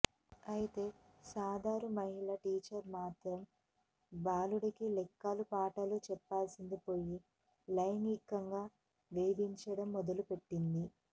అయితే సదరు మహిళా టీచర్ మాత్రం బాలుడికి లెక్కల పాఠాలు చెప్పాల్సిందిపోయి లైంగికంగా వేధించడం మొదలుపెట్టింది